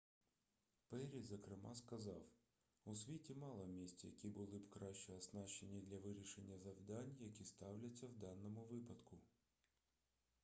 перрі зокрема сказав у світі мало місць які були б краще оснащені для вирішення завдань які ставляться в даному випадку